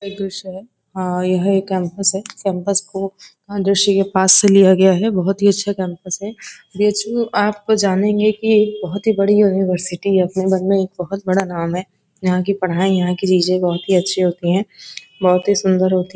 एक दृश्य है यह एक कैंपस है कैंपस को दृश्य पास से लिया गया है बहुत ही अच्छा कैंपस है बी.एच.यू आप जानेंगे की बहुत बड़ी यूनिवर्सिटी है अपने मन में बहुत बड़ा नाम है। यहाँ की पढ़ाई यहाँ की चीजें बहुत ही अच्छी होती है। बहुत सुंदर होती--